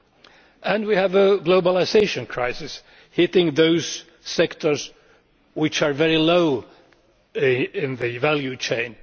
Thirdly, we have a globalisation crisis hitting those sectors which are very low in the value chain.